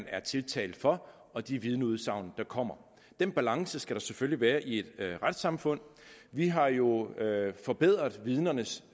er tiltalt for og de vidneudsagn der kommer den balance skal der selvfølgelig være i et retssamfund vi har jo forbedret vidnernes